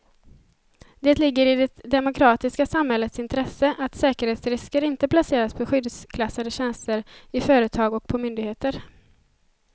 Det ligger i det demokratiska samhällets intresse att säkerhetsrisker inte placeras på skyddsklassade tjänster i företag och på myndigheter.